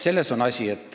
Selles on asi.